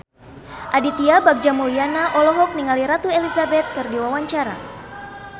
Aditya Bagja Mulyana olohok ningali Ratu Elizabeth keur diwawancara